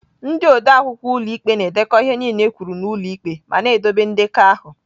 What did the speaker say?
Ndị odeakwụkwọ ụlọ ikpe na-edekọ ihe niile ekwuru n'ụlọ ikpe ma na-edobe ndekọ ahụ.